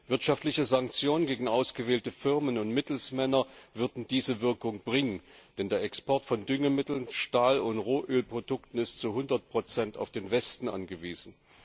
Wirtschaftliche Sanktionen gegen ausgewählte Firmen und Mittelsmänner würden diese Wirkung bringen, denn der Export von Düngemitteln, Stahl und Rohölprodukten ist zu hundert Prozent auf den Westen angewiesen.